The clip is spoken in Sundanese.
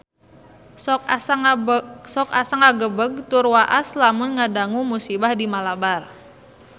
Sok asa ngagebeg tur waas lamun ngadangu musibah di Malabar